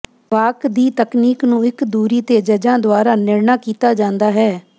ਵਾਕ ਦੀ ਤਕਨੀਕ ਨੂੰ ਇੱਕ ਦੂਰੀ ਤੇ ਜੱਜਾਂ ਦੁਆਰਾ ਨਿਰਣਾ ਕੀਤਾ ਜਾਂਦਾ ਹੈ